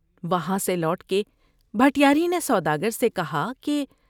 وہاں سے لوٹ کے بھٹیاری نے سوداگر سے کہا کہ ۔